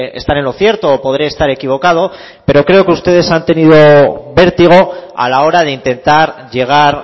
estar en lo cierto o podré estar equivocado pero creo que ustedes han tenido vértigo a la hora de intentar llegar